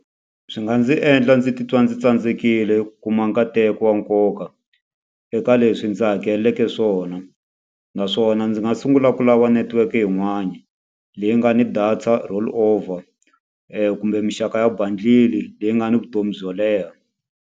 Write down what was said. Swi nga ndzi endla ndzi titwa ndzi tsandzekile ku kuma nkateko wa nkoka eka leswi ndzi hakeleleke swona. Naswona ndzi nga sungula ku lava network yin'wani, leyi nga ni data rollover kumbe minxaka ya bundle-i leyi nga ni vutomi byo leha.